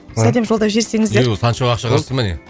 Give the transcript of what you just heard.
сәлем жолдап жіберсеңіздер санчо ақша қосты ма не